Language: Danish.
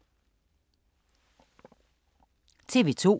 TV 2